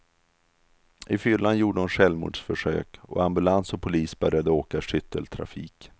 I fyllan gjorde hon självmordsförsök, och ambulans och polis började åka i skytteltrafik.